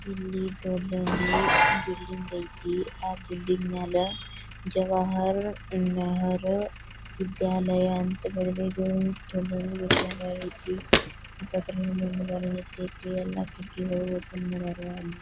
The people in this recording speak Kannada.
ಇಲ್ಲಿ ದೊಡ್ಡದೊಂದು ಬಿಲ್ಡಿಂಗ್ ಐತೆ ಆ ಬಿಲ್ಡಿಂಗ್ ಮ್ಯಾಲ ಜವಾಹರ್ ನೆಹರು ವಿದ್ಯಾಲಯ ಅಂತ ಬರದಿದು ವಿದ್ಯಾಲಯ ಐತಿ ಎಲ್ಲಾ ಕಿಟಕಿಗಳು ಓಪನ್ ಮಾಡರ.